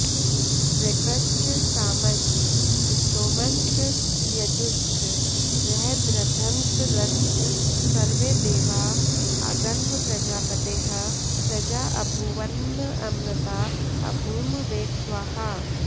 ऋक्च सामश्च स्तोमश्च यजुश्च बृहद्रथन्तरश्च स्वर्देवा अगन्म प्रजापतेः प्रजा अभूवन्नऽमृता अभूम वेट्स्वाहा